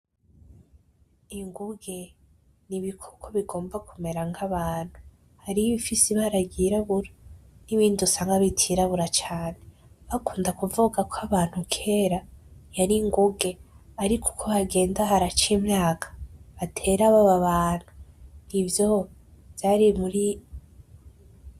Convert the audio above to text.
Inguge nibikoko bigomba kumera nkabantu hariho ibifise ibara ryirabura nibindi usanga bitirabura cane bakunda kuvuga ko abantu kera yari inguge ariko uko hagenda haraca imyaka batera baba abantu ivyo vyari muri